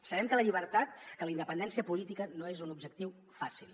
sabem que la llibertat que la independència política no és un objectiu fàcil